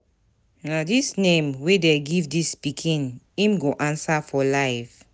Na dis name wey dey give dis pikin im go answer for life.